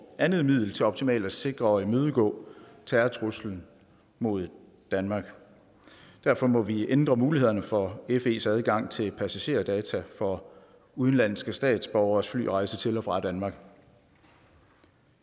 andet middel til optimalt at sikre og imødegå terrortruslen mod danmark derfor må vi ændre mulighederne for fes adgang til passagerdata for udenlandske statsborgeres flyrejse til og fra danmark